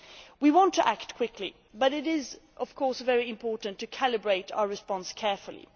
We want to act quickly, but it is, of course, very important to calibrate our response carefully.